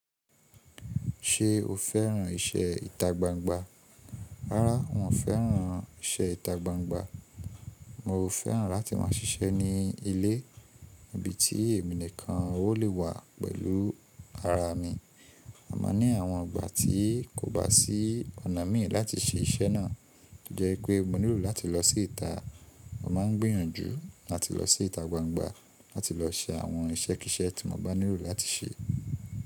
Ṣé o féràn ìṣe ìtagbangba? Rárá, wọn fẹ́ràn ìṣe ìtagbangba. Mo fẹ́ràn láti máa ṣiṣẹ́ ní ilé ibi tí èmi nìkan ó lè wà pẹ̀lú ara mi. Àmọ́ ní àwọn ìgbà tí kò bá sí ọ̀nà mìíràn láti ṣe iṣẹ́ náà, jẹ́ pé mo nílò láti lọ sí ìta, mo máa ń gbìyànjú láti lọ sí ìtagbangba láti lọ ṣe àwọn iṣẹ́ kiiṣẹ́ tí mo bá nílò láti ṣe.